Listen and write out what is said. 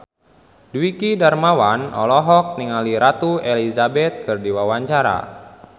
Dwiki Darmawan olohok ningali Ratu Elizabeth keur diwawancara